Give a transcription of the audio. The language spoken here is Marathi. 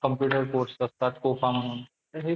computer course असतात म्हणून